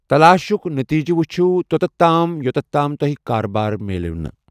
تلاشٕک نٔتیٖجہٕ ؤچھِو تۄتتھ تام یوتتھ تام تۄہہِ کاربار مِلٮ۪و نہٕ۔